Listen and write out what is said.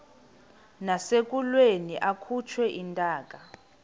nasekulweni akhutshwe intaka